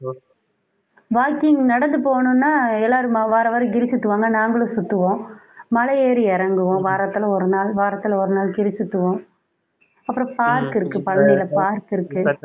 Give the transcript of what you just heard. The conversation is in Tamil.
walking நடந்து போகணும்னா எல்லாரும் வாரவாரம் கிரி சுத்துவாங்க நாங்களும் சுத்துவோம் மலை ஏறி இறங்குவோம் வாரத்தில ஒரு நாள் வாரத்தில ஒரு நாள் கிரி சுத்துவோம் அப்புறம் park இருக்கு பழனியில park இருக்கு